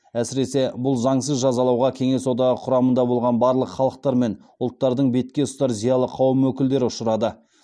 әсіресе бұл заңсыз жазалауға кеңес одағы құрамында болған барлық халықтар мен ұлттардың бетке ұстар зиялы қауым өкілдері ұшырады